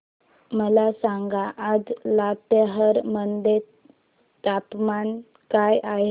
मला सांगा आज लातेहार मध्ये तापमान काय आहे